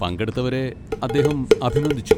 പങ്കെടുത്തവരെ അദ്ദേഹം അഭിനന്ദിച്ചു.